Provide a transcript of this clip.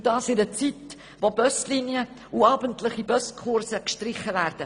Und das in einer Zeit, da Buslinien und abendliche Buskurse gestrichen werden.